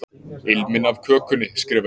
Ilminn af kökunni, skrifa ég.